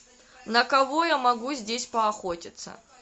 на кого я могу здесь поохотиться